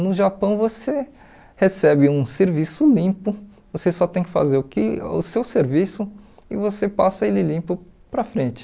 No Japão você recebe um serviço limpo, você só tem que fazer o que o seu serviço e você passa ele limpo para frente.